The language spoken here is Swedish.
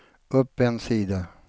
upp en sida